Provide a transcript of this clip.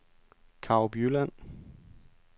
Karup Jylland